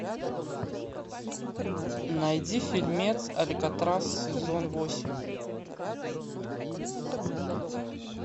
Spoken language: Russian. найди фильмец алькатрас сезон восемь